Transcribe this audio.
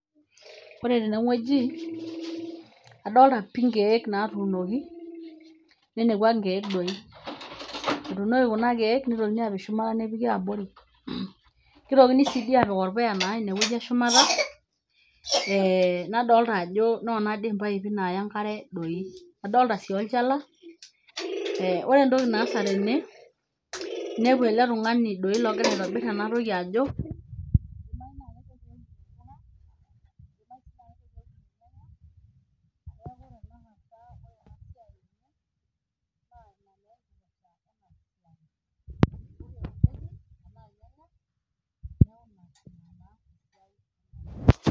Ore tenewueji adolta pi nkiek, nitokini apik shumata nepiki abori , nitokini apik orpuya inewueji eshumata , nadolta ajo nona impipe naya enkare , adolta si olchala , ore entoki naasa tene naa inepu eletungani ogira aitobir enatoki ajo